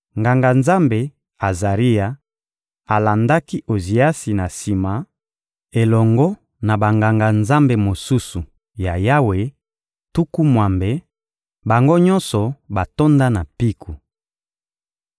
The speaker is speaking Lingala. Nganga-Nzambe Azaria alandaki Oziasi na sima, elongo na Banganga-Nzambe mosusu ya Yawe, tuku mwambe, bango nyonso batonda na mpiko.